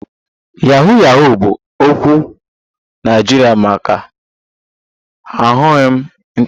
Yahoo Yahoo bụ okwu Naịjirịa maka aghụghọ ịntanetị